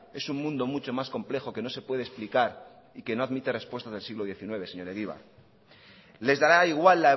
es un mundo mucho más complejo que no se puede explicar y que no admite respuestas del siglo diecinueve señor egibar les dará igual